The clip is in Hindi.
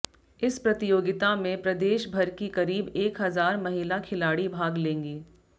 इस प्रतियोगिता में प्रदेशभर की करीब एक हजार महिला खिलाड़ी भाग लेंगी